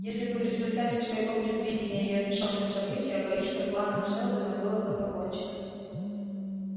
если бы в результате своего предвидения я вмешался в события боюсь что планом сэлдона было бы покончено